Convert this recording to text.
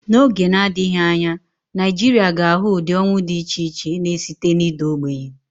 N'oge na-adịghị anya, Nigeria ga-ahụ ụdị ọnwụ dị iche iche, na-esite na ịda ogbenye.